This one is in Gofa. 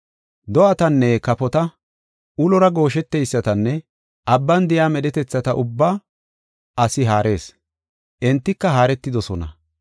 Do7atanne kafota, ulora goosheteysatanne abban de7iya medhetethata ubbaa asi haarees; entika haaretidosona.